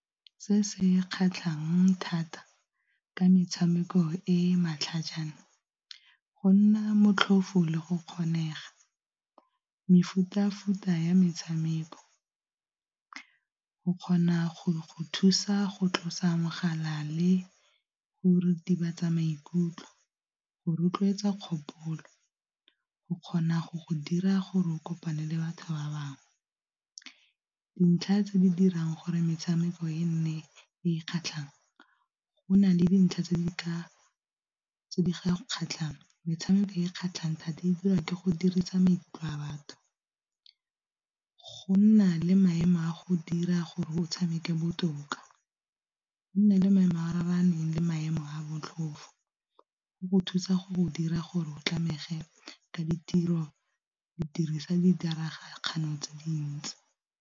Se se kgatlhang thata ka metshameko e matlhajana go nna motlhofo le go kgonega, mefuta-futa ya metshameko, go kgona go thusa go tlosa mogala le go retibatsa maikutlo, go rotloetsa kgopolo, go kgona go go dira gore o kopane le batho ba bangwe. Dintlha tse di dirang gore metshameko e nne e e kgatlhang go na le dintlha tse di ka tse di kgatlhang metshameko e kgatlhang thata e dira ke go dirisa maikutlo a batho, go nna le maemo a go dira gore go tshameke botoka, go nna le maemo a raraneng le maemo a botlhofo, go go thusa go dira gore o tsamege ka ditiro di dirisa ditiragalo tse dintsi.